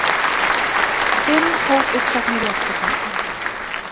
Fimm hópuppsagnir í október